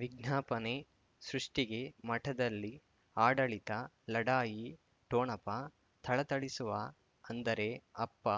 ವಿಜ್ಞಾಪನೆ ಸೃಷ್ಟಿಗೆ ಮಠದಲ್ಲಿ ಆಡಳಿತ ಲಢಾಯಿ ಠೋಣಪ ಥಳಥಳಿಸುವ ಅಂದರೆ ಅಪ್ಪ